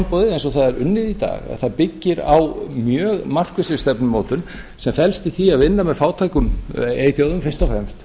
öryggisráðsframboðið eins og það er unnið í dag það byggir á mjög markvissri stefnumótun sem felst í því að vinna með fátækum eyþjóðum fyrst og fremst